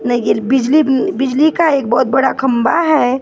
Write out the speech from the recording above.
बिजली बिजली का एक बहुत बड़ा खंबा है पार्किंग ।